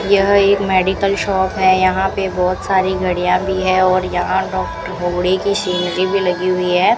यह एक medical shop है यहां पे बहोत सारी गाड़ियां भी है और यहां डॉक्टर होबड़े की सीनरी भी लगी हुई है।